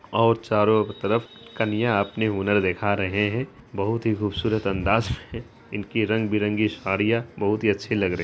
और चारों तरफ कन्या अपने हुनर दिखा रहे हैं बहोत ही खूबसूरत अंदाज है इनकी रंग-बिरंगी साड़ियां बहोत ही अच्छी लग रही --